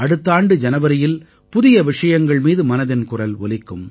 அடுத்த ஆண்டு ஜனவரியில் புதிய விஷயங்கள் மீது மனதின் குரல் ஒலிக்கும்